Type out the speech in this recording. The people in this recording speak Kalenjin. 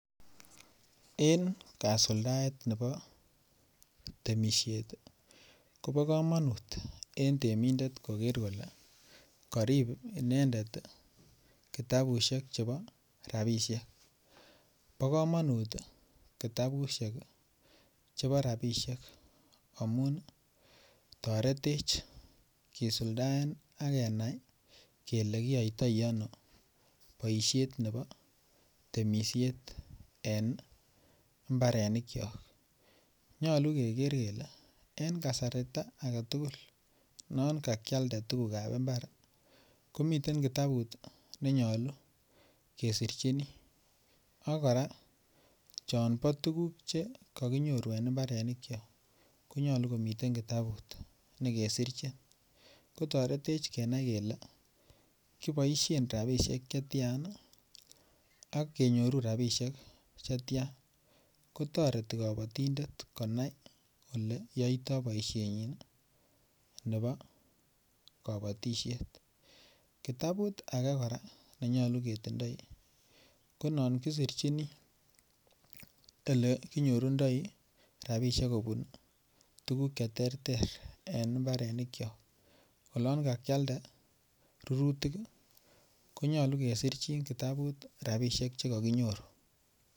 En kasuldaet nebo temisiet kobo kamanut en temindet koger kole karib inendet kitabusiek chebo rabisiek bo komonut kitabusiek chebo rabisiek amun toretech kisuldaen ak kenai kele kiyoitoi boisiet nebo temisiet en mbarenikyok nyolu keger kele en kasarta age tugul non kakialde tuguk ab mbar ko miten kitabut ne nyolu kesirchini ak kora chon bo tuguk Che kaginyoru en mbarenikyok ko nyolu komiten kitabut ne kesirchin kotoretech kenai kele kiboisien rabisiek Che tian ak kenyoru rabisiek Che tian kotoreti kabatindet konai Ole yaitoi boisienyi nebo kabatisiet kitabut age kora ne nyolu ketindoi ko non kesirchini Ole kinyorundoi rabisiek kobun tuguk Che terter en mbarenikyok olon kakialde rurutik ko nyolu kesirchin kitabut rabisiek Che kaginyoru